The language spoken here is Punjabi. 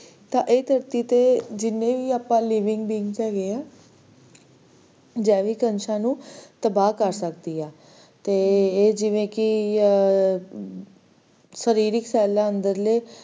ਤਾਂ ਇਹ ਧਰਤੀ ਤੇ ਜਿੰਨੇ ਵੀ ਆਪਾਂ living beings ਹੈਗੇ ਆ, ਆਹ ਜੈਵਿਕ ਅੰਸ਼ਾਂ ਨੂੰ ਤਬਾਹ ਕਰ ਸਕਦੀ ਆ ਤੇ ਇਹ ਜਿਵੇ ਕੀ ਸਰੀਰਿਕ cell ਏ ਅੰਦਰਲੇ